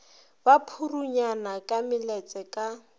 ba purunyana ka meletse ka